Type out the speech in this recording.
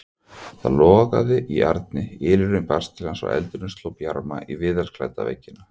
Það logaði í arni, ylurinn barst til hans og eldurinn sló bjarma á viðarklædda veggina.